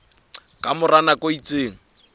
ka mora nako e itseng